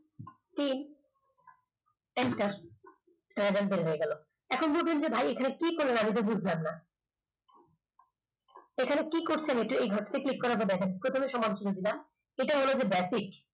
তিন enter দেখুন বের হয়ে গেল এখন বলবেন ভাই এখানে কি করলেন আমি তো বুঝলাম না এখানে কি করছেন এই ঘর click প্রথমে সমান চিহ্ন দিলাম এটা হল গিয়ে basic